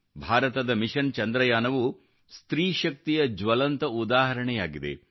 ಭಾರತದ ಮಿಷನ್ ಚಂದ್ರಯಾನವು ಸ್ತ್ರೀ ಶಕ್ತಿಯ ಜ್ವಲಂತ ಉದಾಹರಣೆಯಾಗಿದೆ